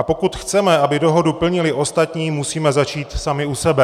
A pokud chceme, aby dohodu plnili ostatní, musíme začít sami u sebe.